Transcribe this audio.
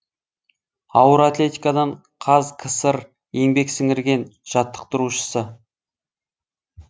ауыр атлетикадан қазкср еңбек сіңірген жаттықтырушысы